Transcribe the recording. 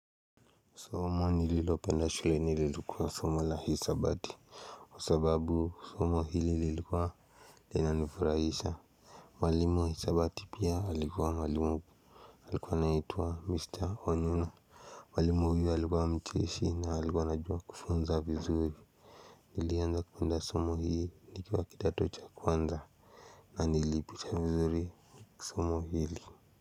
Somo nililopenda shule ililikuwa somo la hesabati. Kwa sababu somo hili lilikuwa lina nifurahisha. Walimu wa hesabati pia alikuwa mwalimu alikuwa anaitwa mister onyuna. Walimu huyu alikuwa mcheshi na alikuwa anajua kufunza vizuri. Nilianza kupenda somo hii nikiwa kitato cha kwanza na nilipita vizuri somo hili.